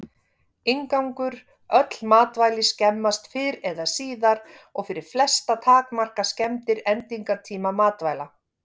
Inngangur Öll matvæli skemmast fyrr eða síðar og fyrir flesta takmarka skemmdir endingartíma matvæla.